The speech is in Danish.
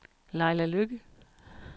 Laila Lykke